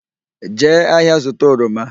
Jee ahịa zụta oroma!